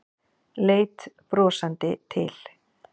Leit brosandi til